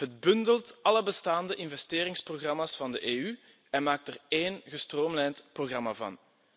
Het bundelt alle bestaande investeringsprogramma's van de EU en maakt er één gestroomlijnd programma van.